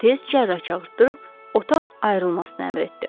Tez cərrah çağırdırıb otaq ayrılmasını əmr etdi.